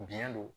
Biɲɛ don